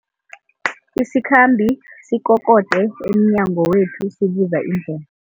Isikhambi sikokode emnyango wethu sibuza indle